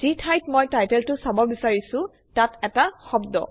যি ঠাইত মই টাইটেলটো চাব বিচাৰিছোঁ তাত এটা শব্দ